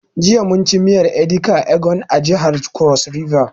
Jiya mun ci miyar edika ekong a jihar cross river